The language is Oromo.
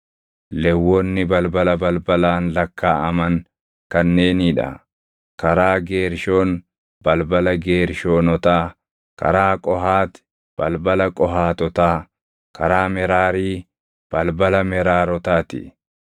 Lewwonni balbala balbalaan lakkaaʼaman kanneenii dha: karaa Geershoon, balbala Geershoonotaa; karaa Qohaati, balbala Qohaatotaa; karaa Meraarii, balbala Meraarotaa ti.